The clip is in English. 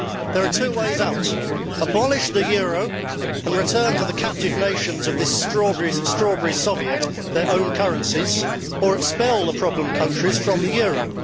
There are two ways out either abolish the euro and return to the captive nations of this Strawberry Soviet their own currencies, or expel the problem countries' from the euro.